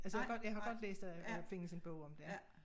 Altså jeg har jeg har godt læst at at der findes en bog om det ik